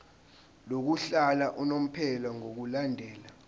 lokuhlala unomphela ngokulandela